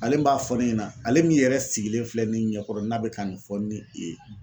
Ale n b'a fɔ ne ɲɛna ale min yɛrɛ sigilen filɛ ne ɲɛkɔrɔ n'a bɛ ka nin fɔ ne i ye